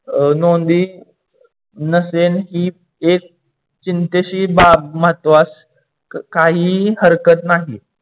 नोंदी नसेल ही एक चिंतेची बाब महत्वास काहीही हरकत नाही